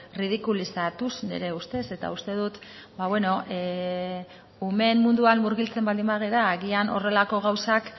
erridikulizatuz nire ustez eta uste dut ba beno umeen munduan murgiltzen baldin bagara agian horrelako gauzak